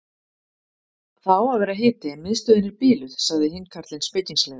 Það á að vera hiti en miðstöðin er biluð sagði hinn karlinn spekingslega.